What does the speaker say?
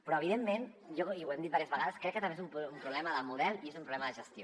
però evidentment i ho hem dit diverses vegades crec que també és un problema de model i és un problema de gestió